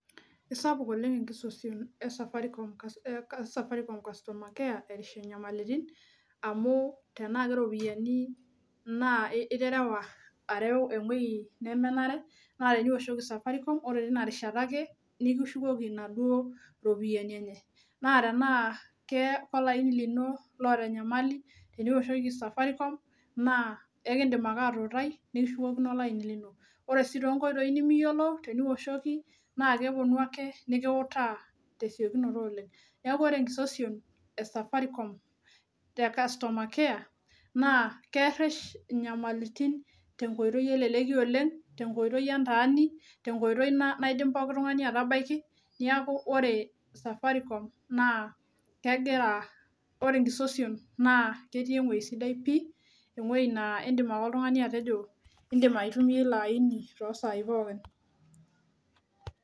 Esaipuk oleng' enkisosion esafarikom customer care erish inyamalitin, amu tenaa keropiyiani naa iterewa areu ewoyi nemenare naa teniwoshoki safarikom ore tinarishata ake nikishukoki inaduo ropiyiani enye. Naa tenaa keloini lino oota enyamali, teniwoshoki safarikom naa ikidim ake atuutai nikishukokino olaini lino. Ore sii toonkoitoi nimiyiolo teniwoshoki naa keponu nikiutaa tesiokinoto oleng'. Neeku ore enkisosion esafarikom, te customer care naa keresh inyamalitin tenkoitoi eleleki oleng', tenkoitoi entaani, tenkoitoi naidim pooki nkae aitabaiki. Neeku ore safarikom naa, ore enkisosion ketii ewoji sidai pii ewoji naa iidim ake oltungani atejo indim aitumiya ilo aini toosaai pookin.